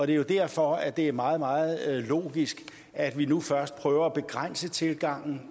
det er jo derfor at det er meget meget logisk at vi nu først prøver at begrænse tilgangen